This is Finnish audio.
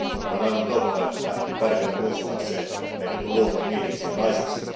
On aivan totta, että on tärkeätä muistaa se, että meidät on luotu miehiksi ja naisiksi.